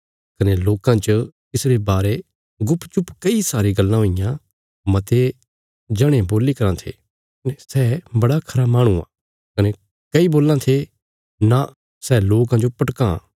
कने लोकां च तिसरे बारे गुपचुप कई सारी गल्लां हुईयां मते जणे बोलीराँ थे सै बड़ा खरा माहणु आ कने कई बोल्लां थे नां सै लोकां जो भटकां